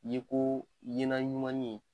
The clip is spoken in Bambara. Yeko ɲɛna ɲumanni